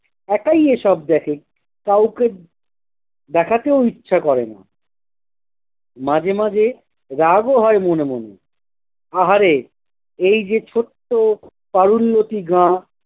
একাই এ সব দেখে, কাউকে দেখাতেও ইচ্ছা করে না। মাঝে মাঝে রাগ ও হয় মনে মনে। আহারে এই যে ছোট্ট তারুণ্যটি গা